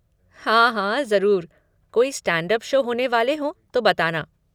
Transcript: हाँ हाँ, ज़रूर! कोई स्टैंड अप शो होने वाले हों तो बताना।